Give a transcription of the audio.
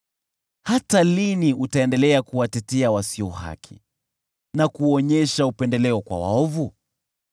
“Hata lini utaendelea kuwatetea wasio haki na kuonyesha upendeleo kwa waovu?